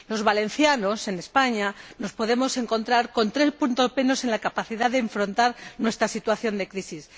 Los valencianos, en España, nos podemos encontrar con 3 puntos menos en la capacidad de afrontar nuestra situación de crisis.